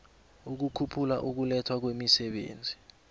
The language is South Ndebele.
ukukhuphula ukulethwa kwemisebenzi